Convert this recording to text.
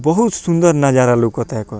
बहुत सुन्दर नज़ारा लउकता एकर।